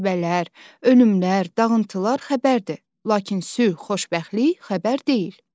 Müharibələr, ölümlər, dağıntılar xəbərdir, lakin sülh, xoşbəxtlik xəbər deyil.